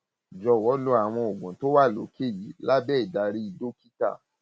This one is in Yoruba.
jọwọ lo àwọn oògùn tó wà lókè yìí lábẹ ìdarí dókítà lábẹ ìdarí dókítà